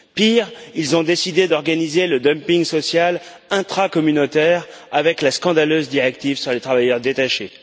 Pire, ils ont décidé d'organiser le dumping social intracommunautaire avec la scandaleuse directive sur les travailleurs détachés.